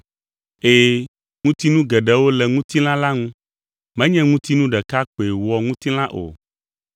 Ɛ̃, ŋutinu geɖewo le ŋutilã la ŋu, menye ŋutinu ɖeka koe wɔ ŋutilã o.